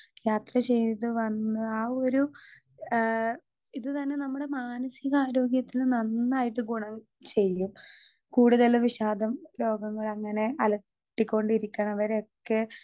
Speaker 2 യാത്ര ചെയ്ത് വന്ന് ആ ഒരു ഏ ഇത് തന്നെ നമ്മുടെ മാനസികാരോഗ്യത്തിന് നന്നായിട്ട് ഗുണം ചെയ്യും കൂടുതല് വിഷാദം രോഗങ്ങളങ്ങനെ അലട്ടി കൊണ്ടിരിക്ക്ണവരെയൊക്കെ.